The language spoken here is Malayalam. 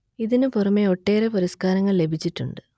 ഇതിനു പുറമെ ഒട്ടേറെ പുരസ്കാരങ്ങൾ ലഭിച്ചിട്ടുണ്ട്